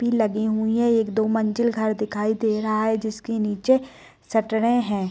भी लगी हुई हैं एक-दो मंजिल घर दिखाई दे रहा है जिसके नीचे सटरे हैं।